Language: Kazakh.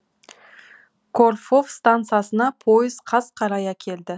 корфов стансасына пойыз қас қарая келді